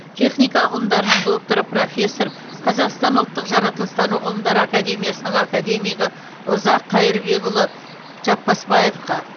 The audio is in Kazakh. техника ғылымдарының докторы профессор қазақстан ұлттық жаратылыстану ғылымдары академиясының академигі ұзақ қайырбекұлы жапбасбаевқа